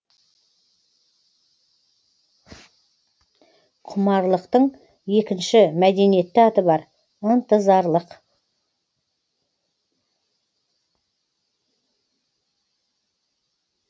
құмарлықтың екінші мәдениетті аты бар ынтызарлық